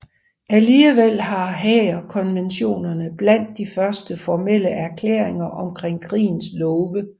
Alligevel var Haagerkonventionerne blandt de første formelle erklæringer om krigens love